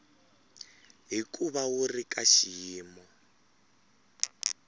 hikuva wu ri ka xiyimo